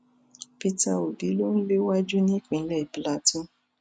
peter obi ló ń léwájú nípínlẹ plateau